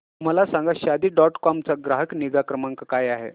मला सांगा Shaadi dot com चा ग्राहक निगा क्रमांक काय आहे